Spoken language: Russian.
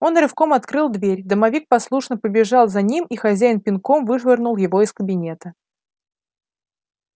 он рывком открыл дверь домовик послушно побежал за ним и хозяин пинком вышвырнул его из кабинета